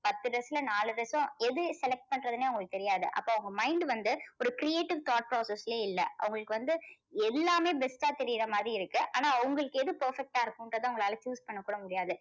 பத்து dress ல நாலு dress எது select பண்றதுன்னே அவங்களுக்கு தெரியாது. அப்போ அவங்க mind வந்து ஒரு creative thought process லேயே இல்ல. அவங்களுக்கு வந்து எல்லாமே best டா தெரியுற மாதிரி இருக்கு. ஆனா அவங்களுக்கு எது perfect டா இருக்குன்றது அவங்களால choose பண்ண கூட முடியாது.